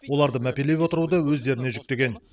оларды мәпелеп отыруды өздеріне жүктеген